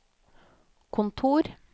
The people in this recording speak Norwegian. kontor